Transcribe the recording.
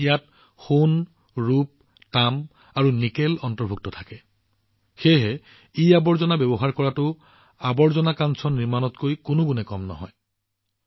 ইয়াত সোণ ৰূপ তাম আৰু নিকেল অন্তৰ্ভুক্ত থাকে সেয়েহে ইআৱৰ্জনা ব্যৱহাৰ কৰাটো কচৰে কো কাঞ্চনত কম নহয়